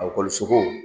Akɔlisow